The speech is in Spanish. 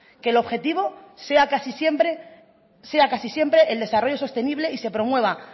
que el objetivo sea casi siempre el desarrollo sostenible y se promueva